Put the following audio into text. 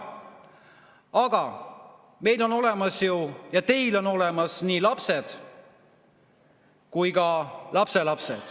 Aga meil on olemas ja teil on olemas nii lapsed kui ka lapselapsed.